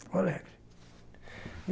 Sou alegre.